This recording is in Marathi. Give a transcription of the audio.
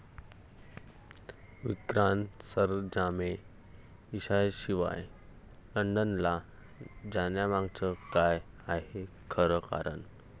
विक्रांत सरंजामे ईशाशिवाय लंडनला जाण्यामागचं काय आहे खरं कारण?